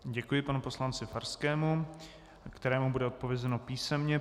Děkuji panu poslanci Farskému, kterému bude odpovězeno písemně.